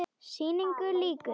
Sýningu lýkur.